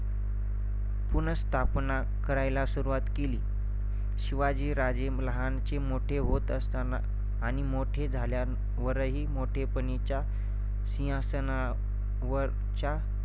पुनःस्थापना करायला सुरुवात केली. शिवाजीराजे लहानचे मोठे होत असताना आणि मोठे झाल्यांवरही मोठेपणीच्या सिंहगडावरच्या